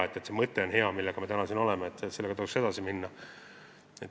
Hea on see mõte, millega me siin täna oleme, ja sellega tuleks edasi minna.